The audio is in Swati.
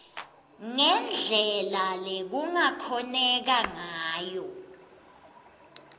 ngendlela lekungakhoneka ngayo